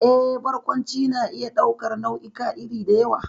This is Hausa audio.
Eh, Barkwanci na iya ɗaukar nau'ikan iri da yawa,